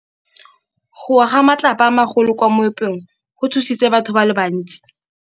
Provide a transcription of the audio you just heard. Go wa ga matlapa a magolo ko moepong go tshositse batho ba le bantsi.